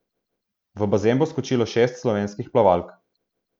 V bazen bo skočilo šest slovenskih plavalk.